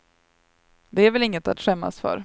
Det är väl inget att skämmas för.